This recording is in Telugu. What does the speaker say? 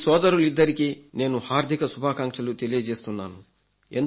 ఈ సోదరిలిద్దరికీ నేను హార్థిక శుభాకాంక్షలు తెలియజేస్తున్నాను